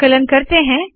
संकलन करते है